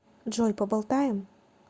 джой поболтаем